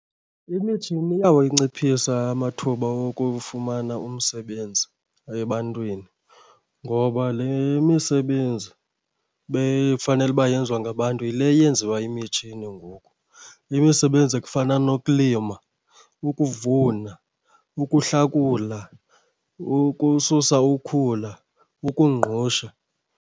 Imitshini iyawanciphisa amathuba wokufumana umsebenzi ebantwini. Ngoba le misebenzi befanele uba yenziwa ngabantu yile yenziwa yimitshini ngoku. Imisebenzi ekufana nokulima, ukuvuna, ukuhlakula, ukususa ukhula, ukungqusha.